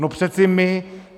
No přece my.